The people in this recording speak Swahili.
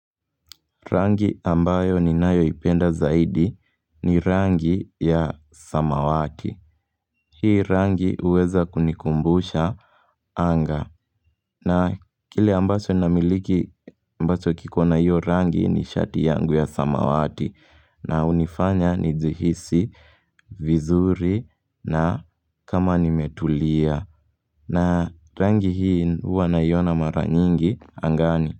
Rangi ambayo ninayoipenda zaidi ni rangi ya samawati hii rangi huweza kunikumbusha anga na kile ambacho namiliki ambacho kiko na hiyo rangi ni shati yangu ya samawati na hunifanya nijihisi vizuri na kama nimetulia na rangi hii huwa naiona mara nyingi angani.